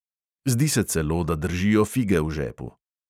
Zdi se celo, da držijo fige v žepu ...